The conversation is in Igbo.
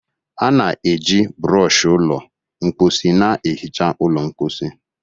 A na-eji brooshi ụlọ mposi na-ehicha ụlọ mposi